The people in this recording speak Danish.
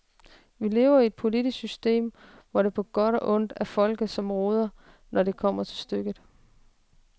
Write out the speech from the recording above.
Vi lever i et politisk system, hvor det på godt og ondt er folket som råder, når det kommer til stykket.